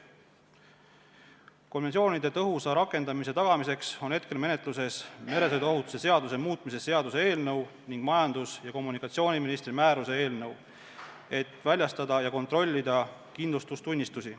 Konventsiooni tõhusa rakendamise tagamiseks on praegu menetluses meresõiduohutuse seaduse muutmise seaduse eelnõu ning majandus- ja kommunikatsiooniministri määruse eelnõu, et väljastada ja kontrollida kindlustustunnistusi.